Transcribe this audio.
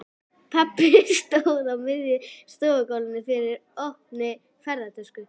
Pabbi stóð á miðju stofugólfi yfir opinni ferðatösku.